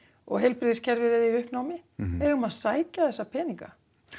og heilbrigðiskerfið er í uppnámi við eigum að sækja þessa peninga